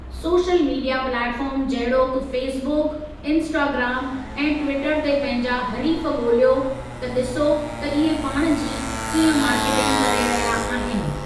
Social media platform जहिड़ोकि Facebook, Instagram ऐं Twitter ते पंहिंजा हरीफ़ु ॻोलियो त ॾिसो त इहे पाण जी कीअं मार्केटिंग करे रहिया आहिनि।